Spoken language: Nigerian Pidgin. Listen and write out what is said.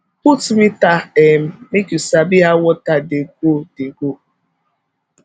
put meter um make you sabi how water dey go dey go